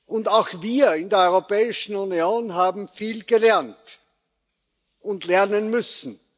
Und auch wir in der Europäischen Union haben viel gelernt und lernen müssen.